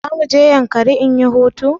Za mu je yankari in anyi hutu